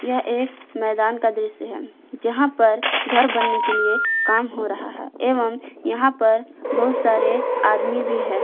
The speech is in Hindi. यह एक मैदान का दृश्य है जहां पर घर बनने के लिए काम हो रहा है एवं यहां पर बहोत सारे आदमी भी हैं।